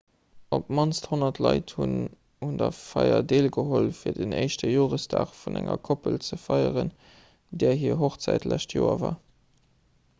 op d'mannst 100 leit hunn un der feier deelgeholl fir den éischte joresdag vun enger koppel ze feieren där hir hochzäit d'lescht joer war